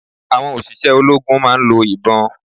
Àwọn òṣìṣẹ́ ológun máa ń lo ìbọn